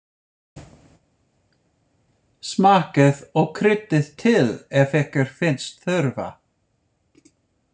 Smakkið og kryddið til ef ykkur finnst þurfa.